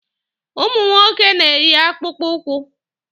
Ụmụ nwoke na-eyi akpụkpụ ụkwụ.